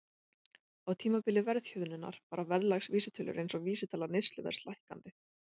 Á tímabili verðhjöðnunar fara verðlagsvísitölur eins og vísitala neysluverðs lækkandi.